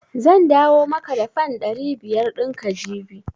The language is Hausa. Zan dawo maka da fan ɗari biyar ɗin ka jibi.